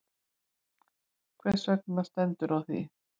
Hvers vegna stendur á því?